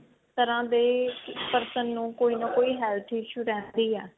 ਹਰ ਤਰ੍ਹਾਂ ਦੇ person ਨੂੰ ਕੋਈ ਨਾ ਕੋਈ health issue ਰਹਿੰਦੀ ਹੈ